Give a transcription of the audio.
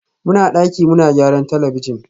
muna daki muna gyaran talabijin